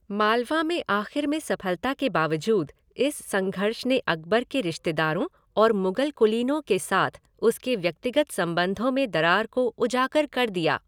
मालवा में आख़िर में सफलता के बावज़ूद इस संघर्ष ने अकबर के रिश्तेदारों और मुगल कुलीनों के साथ उसके व्यक्तिगत संबंधों में दरार को उजागर कर दिया।